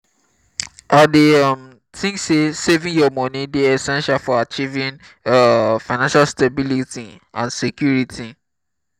i dey um think say saving your money dey essential for achieving um financial stability and security. um